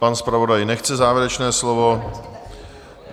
Pan zpravodaj nechce závěrečné slovo?